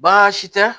Baasi tɛ